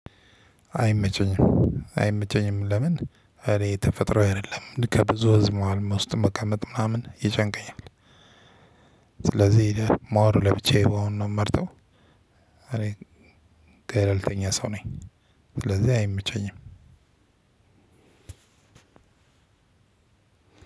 አይመቸኝም። አይመቸኝም ለምን? እኔ ተፈጥሮ አይደለም ከብዙ ህዝብ መዋልም ውስጥ መቃመጥ ምናምን ይጨንቀኛል። ስለዚህ ማወሩ ለብቻዬ አሁን ነው የምመርጠው። እኔ ገለልተኛ ሰው ነኝ። ስለዚህ አይመቸኝም።